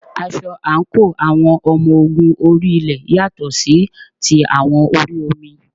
Aṣọ àǹkóò àwọn ọmọ ogun orí ilẹ̀ yàtọ̀ sí ti àwọn orí omi.